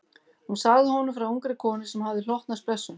Hún sagði honum frá ungri konu sem hafði hlotnast blessun.